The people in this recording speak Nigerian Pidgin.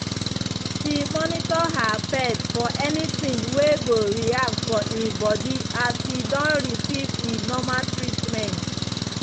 she monitor her pet for any thing wey go react for e body as e don receive e normal treatment